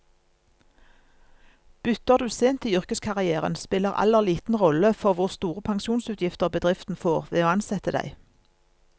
Bytter du sent i yrkeskarrieren, spiller alder liten rolle for hvor store pensjonsutgifter bedriften får ved å ansette deg.